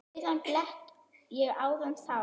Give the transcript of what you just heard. Auðan blett ég áðan sá.